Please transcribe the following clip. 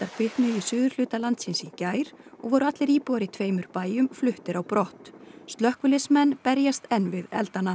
kviknuðu í suðurhluta landsins í gær og voru allir íbúar í tveimur bæjum fluttir á brott slökkviliðsmenn berjast enn við eldana